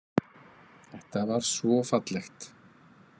Þetta var svo fallegt.